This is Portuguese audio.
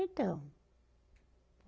Então.